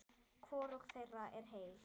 Hvorug þeirra er heil.